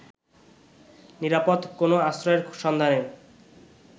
নিরাপদ কোনো আশ্রয়ের সন্ধানে